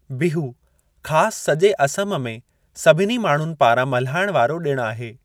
बिहू ख़ास सॼे असम में सभिनी माण्हुनि पारां मल्हाइण वारो ॾिणु आहे।